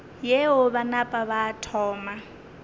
yeo ba napa ba thoma